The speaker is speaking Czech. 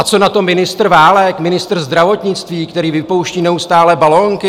A co na to ministr Válek, ministr zdravotnictví, který vypouští neustále balonky?